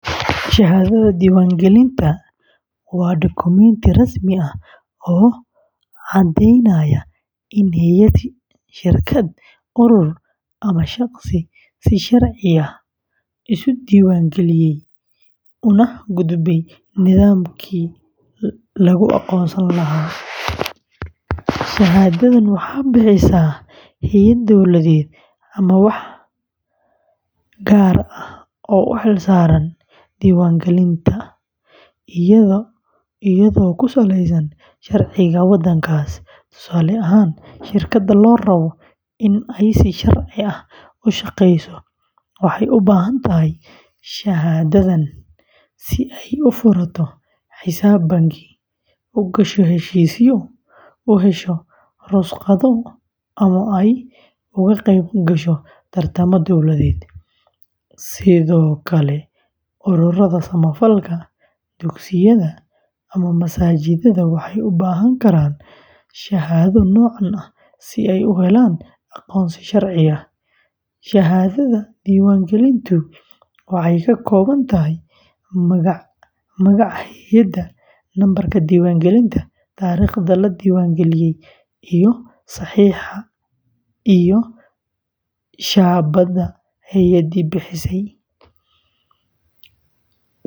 Shahaadada diiwaangelinta, waa dukumenti rasmi ah oo caddaynaya in hay’ad, shirkad, urur, ama shaqsi si sharci ah isu diiwaangeliyey una gudbay nidaamkii lagu aqoonsan lahaa. Shahaadadan waxaa bixisa hay’ad dowladeed ama waax gaar ah oo u xilsaaran diiwaangelinta, iyadoo ku saleysan sharciga waddankaas. Tusaale ahaan, shirkad la rabo in ay si sharci ah u shaqeyso waxay u baahan tahay shahaadadan si ay u furato xisaab bangi, u gasho heshiisyo, u hesho rukhsado, ama ay uga qeyb gasho tartamo dowladeed. Sidoo kale, ururada samafalka, dugsiyada, ama masaajidada waxay u baahan karaan shahaado noocan ah si ay u helaan aqoonsi sharci ah. Shahaadada diiwaangelintu waxay ka kooban tahay magaca hay’adda, nambarka diiwaangelinta, taariikhda la diiwaangeliyey, iyo saxiixa iyo shaabadda hay’addii bixisay.